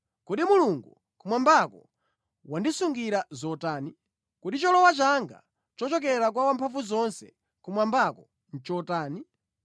Kodi Mulungu kumwambako wandisungira zotani? Kodi cholowa changa chochokera kwa Wamphamvuzonse kumwambako nʼchotani?